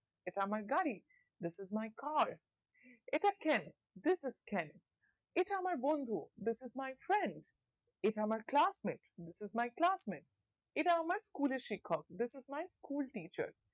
এটা আমরা গাড়ি this is my car এটা ট্রেন this is train এটা আমরা বন্ধু this is my friends এটা আমরা class mate this is my class mate এটা আমার school শিক্ষক this is my school teacher